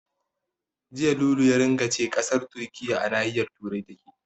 Jiya Lulu ya ringa ce ƙasar Turkiyya a nahiyar Turai take.